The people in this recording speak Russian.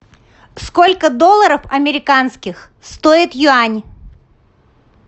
сколько долларов американских стоит юань